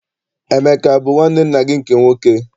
Emeka abụ nwanne nna gị nke nwoke?